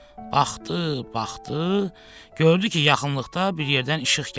Baxdı, baxdı, gördü ki, yaxınlıqda bir yerdən işıq gəlir.